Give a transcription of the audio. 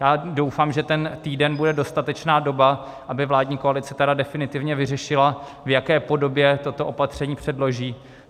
Já doufám, že ten týden bude dostatečná doba, aby vládní koalice tedy definitivně vyřešila, v jaké podobě toto opatření předloží.